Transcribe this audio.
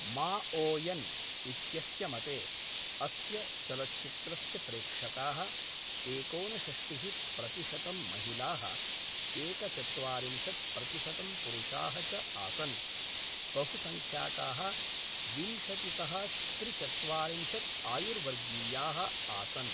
Maoyan इत्यस्य मते अस्य चलच्चित्रस्य प्रेक्षकाः एकोनषष्टिः प्रतिशतं महिलाः एकचत्वारिंशत् प्रतिशतं पुरुषाः च आसन्, बहुसंख्यकाः विंशतितः त्रिचत्वारिंशत् आयुर्वर्गीयाः आसन्।